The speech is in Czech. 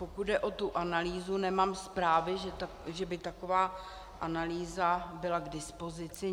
Pokud jde o tu analýzu, nemám zprávy, že by taková analýza byla k dispozici.